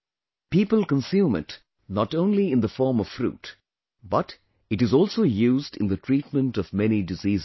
People consume it not only in the form of fruit, but it is also used in the treatment of many diseases